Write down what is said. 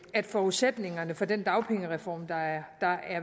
at forudsætningerne for den dagpengereform der er